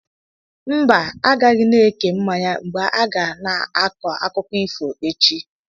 Mba, agaghị na-eke mmanya mgbe a ga na-akọ akụkọ ifo echi.